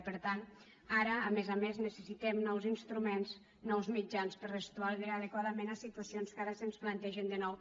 i per tant ara a més a més necessitem nous instruments nous mitjans per respondre adequadament a situacions que ara se’ns plantegen de nou